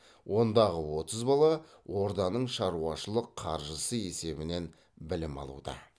ондағы отыз бала орданың шаруашылық қаржысы есебінен білім алуда